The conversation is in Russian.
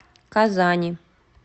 казани